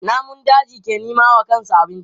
Namun daji ke nema wa kansu abinci.